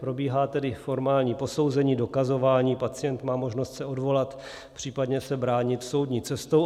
Probíhá tedy formální posouzení, dokazování, pacient má možnost se odvolat, případně se bránit soudní cestou.